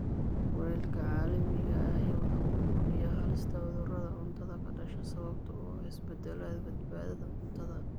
Kulaylka caalamiga ahi waxa uu kordhiyaa halista cudurrada cuntada ka dhasha sababta oo ah isbeddellada badbaadada cuntada.